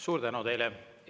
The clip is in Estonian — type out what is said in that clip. Suur tänu teile!